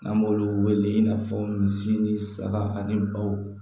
N'an b'olu wele i n'a fɔ misi ni saga ani baw